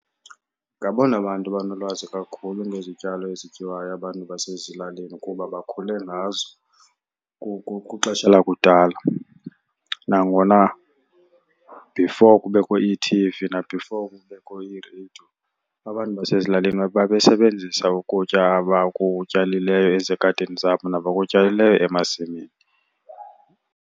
Ngabona bantu banolwazi kakhulu ngezityalo ezityiwayo abantu basezilalini kuba bakhule ngazo kwixesha lakudala. Nangona before kubekho ii-T_V na-before kubekho ii-radio abantu basezilalini babesebenzisa ukutya abakutyalileyo ezigadini zabo nabakutyalileyo emasimini.